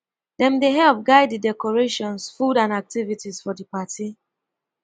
them dey help guide di decorations food and activities for di party